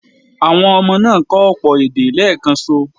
Àwọn ọmọ náà kọ́ ọ̀pọ̀ èdè léèkanṣo.